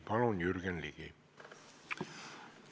Palun, Jürgen Ligi!